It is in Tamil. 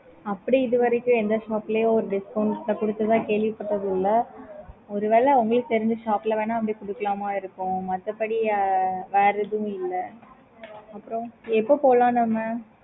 okay mam